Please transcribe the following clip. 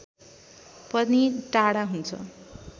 पनि टाढा हुन्छ